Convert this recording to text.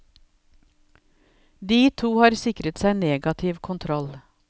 De to har sikret seg negativ kontroll.